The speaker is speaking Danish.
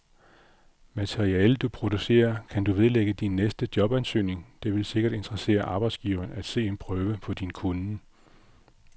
Materialet, du producerer, kan du vedlægge din næste jobansøgning, det vil sikkert interessere arbejdsgiveren at se en prøve på din kunnen.